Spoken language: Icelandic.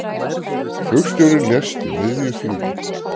Flugstjórinn lést í miðju flugi